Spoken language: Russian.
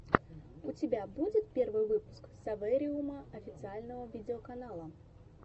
у тебя будет первый выпуск совэриума официального видеоканала